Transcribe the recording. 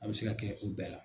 An bɛ se k'a kɛ u bɛɛ la.